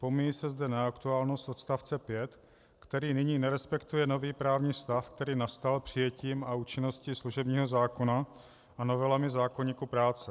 Pomíjí se zde neaktuálnost odstavce 5, který nyní nerespektuje nový právní stav, který nastal přijetím a účinností služebního zákona a novelami zákoníku práce.